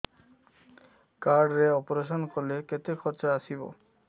card ରେ operation କଲେ କେତେ ଖର୍ଚ ଆସିବ